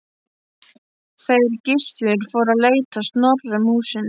Þeir Gissur fóru að leita Snorra um húsin.